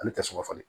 Ale tɛ sugunɛ falen